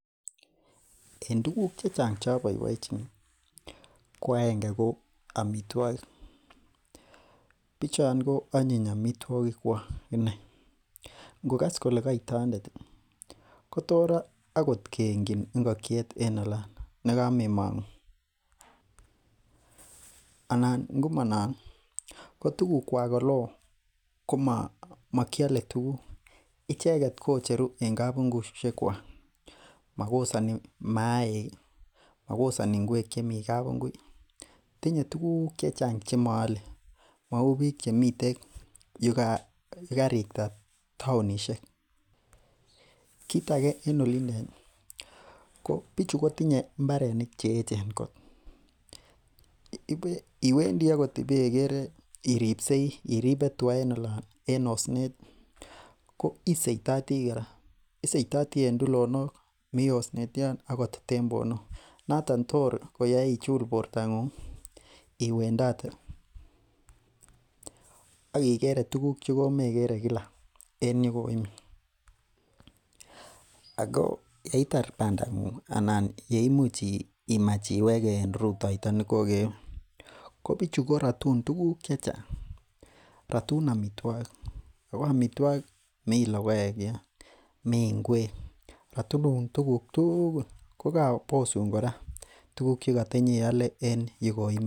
En tuguk chechang' choboiboenjini ko agenge ko amitwogik Bichon ko onyin amitwogik kwak inei ngokas kole kait tondet ih kotor akot keengyin ngokiet en olon nekamemong'u anan ngomonon ko tuguk kwak eleoo ko mokiole tuguk, icheket kicheru en kabungusiek kwak makosoni maaik, makosoni ngwek chemii kabungui tinye tuguk chechang' chemoole mou biik chemiten yekarikta taonisiek. Kit age en olindet ih ko bichu kotinye mbarenik cheechen kot iwendii akot ibekere iripsei iribe tuga en osnet ko isoitotii kora isoitotii en tulonok mi osnet yon ak tembwonok noton tor koyoe ichul bortong'ung ih iwendote ak ikere tuguk chekomekere kila en yekoimii ako yeitar bandang'ung anan yeimuch imach iwege en rutoito nekokewe kobichu korotun tuguk chechang' rotun amitwogik ako amitwogik mi logoek yon mii ngwek, rotun tuguk tugul kokobosun kora tuguk chekotenyeole en yukoimii